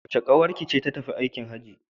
Wace ƙawarki ce ta tafi aikin Hajji?